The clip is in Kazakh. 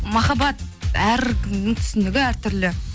махаббат әркімнің түсінігі әртүрлі